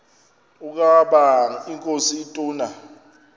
ukaba inkosi ituna